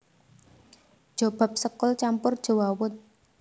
Jobab sekul campur jewawut